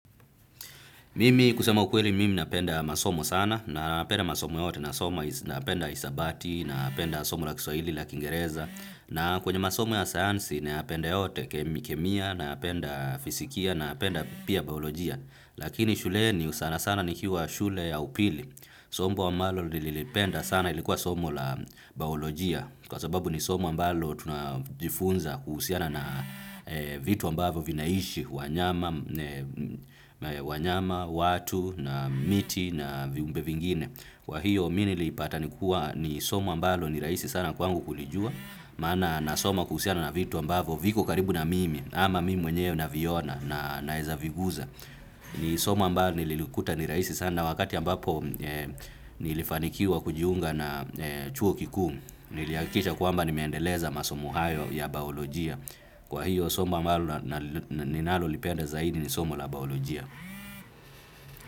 Mimi kusema ukweli mimi napenda masomo sana na napenda masomo yote na napenda hisabati na napenda somo la kiswaili la kingereza na kwenye masomo ya sayansi napenda yote kemi kemia napenda fisikia napenda pia baolojia. Lakini shule ni sana sana nikiwa shule ya upili, somo ambalo lilipenda sana ilikuwa somo la baolojia kwa sababu ni somo ambalo tunajifunza kuhusiana na vitu ambavo vinaishi, wanyama, watu na miti na viumbe vingine. Kwa hiyo, mimi nilipata nikuwa ni somo ambalo ni rahisi sana kwangu kulijua, maana nasoma kuhusiana na vitu ambavo viko karibu na mimi, ama mimi mwenyewe na viona naweza viguza. Ni somo ambalo nililikuta ni rahisi sana, wakati ambapo nilifanikiwa kujiunga na chuo kikuu. Nilihakikisha kwamba nimeendeleza masomo hayo ya baiolojia. Kwa hiyo, somo ambalo ninalolipenda zaidi ni somo la baiolojia.